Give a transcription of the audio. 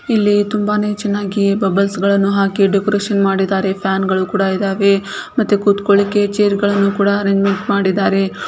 ಇಲ್ಲಿ ತುಂಬಾನೆ ಚೆನ್ನಾಗಿ ಬಬ್ಬಲ್ಸ್ಗಳನ್ನು ಹಾಕಿ ಡೆಕೋರೇಷನ್ ಮಾಡಿದ್ದಾರೆ. ಫ್ಯಾನ್ ಗಳು ಕೂಡ ಇದಾವೆ ಮತ್ತೆ ಕುತ್ಕೋಲ್ಳಿಕೆ ಚೇರ್ಗಳನ್ನು ಕೂಡ ಅರೇಂಜ್ಮೆಂಟ್ ಮಾಡಿದ್ದಾರೆ.